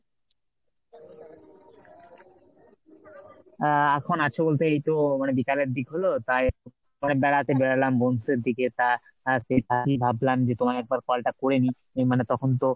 আহ এখন আছে বলতে এইতো মানে বিকালের দিক হল তাই মানে বেড়াতে বেরোলাম বন্ধুদের দিকে তা সে ভাবলাম যে তোমায় একবার call টা করেনি মানে তখন তো,